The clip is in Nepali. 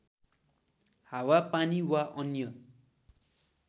हावा पानी वा अन्य